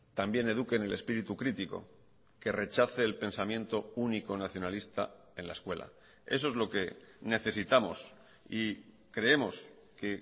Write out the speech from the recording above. también eduque en el espíritu crítico que rechace el pensamiento único nacionalista en la escuela eso es lo que necesitamos y creemos que